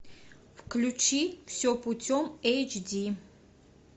включи все путем эйч ди